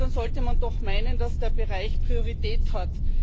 Und dann sollte man doch meinen, dass der Bereich Priorität hat.